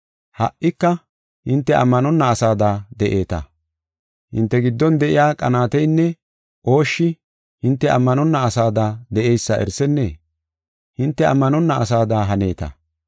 Ha77ika hinte ammanonna asada de7eeta. Hinte giddon de7iya qanaateynne ooshshi hinte ammanonna asada de7eysa erisennee? Hinte ammanonna asada haneeta.